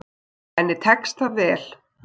Og henni tekst það vel.